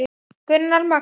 Gunnar Magnús.